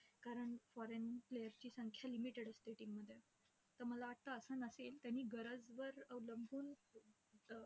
कारण foreign players ची संख्या limited असते team मध्ये. तर मला वाटतं असं नसेल त्यांनी गरजवर अवलंबून